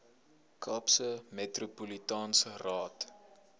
kaapse metropolitaanse raad